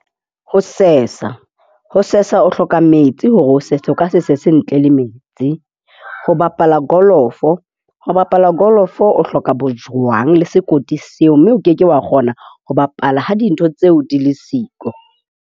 Ho sesa. Ho sesa, o hloka metsi hore o sese. O ka se sese ntle le metsi. Ho bapala kolofo. Ho bapala golf o hloka bojwang le sekoti seo. Mme o ke ke wa kgona ho bapala ha dintho tseo di le siko.